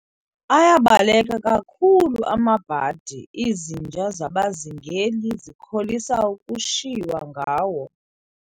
Ayabaleka kakhulu amabhadi, izinja zabazingeli zikholisa ukushiywa ngawo.